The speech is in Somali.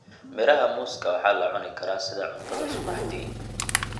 Midhaha muuska waxaa la cuni karaa sida cuntada subaxdii.